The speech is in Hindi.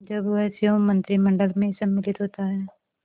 जब वह स्वयं मंत्रिमंडल में सम्मिलित होता है